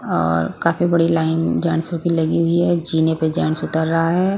और काफी बड़ी लाइन जेंट्स की लगी हुई है जीने पे जेंट्स उतर रहा है ।